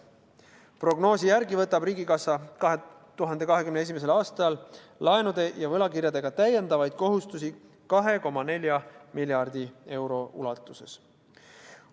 Prognoosi järgi võtab riigikassa 2021. aastal laenude ja võlakirjadega täiendavaid kohustusi 2,4 miljardi euro ulatuses.